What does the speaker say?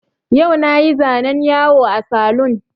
Yau na yi zanen yawo a saloon